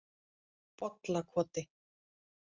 Bollakoti